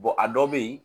a dɔw bɛ yen